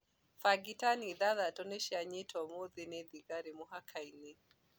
Bangi tani ithathatũ nĩcianyitũo ũmũthĩ nĩ thigari mũhakainĩ.